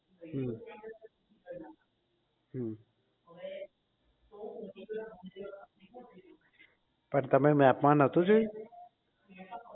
હમ હમ પણ તમે map માં નહોતું જોયું